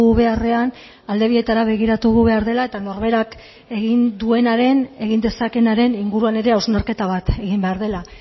beharrean alde bietara begiratu behar dela eta norberak egin duenaren egin dezakeenaren inguruan ere hausnarketa bat egin behar dela